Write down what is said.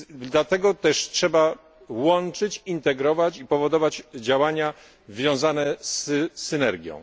Dlatego też trzeba łączyć, integrować i powodować działania wiązane z synergią.